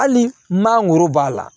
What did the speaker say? Hali maakɔrɔ b'a la